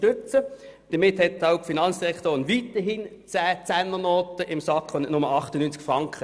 Damit hat auch die Finanzdirektorin weiterhin zehn Zehnernoten in der Tasche und nicht nur 98 Franken.